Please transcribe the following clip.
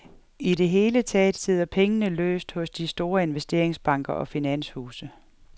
I det hele taget sidder pengene løst hos de store investeringsbanker og finanshuse.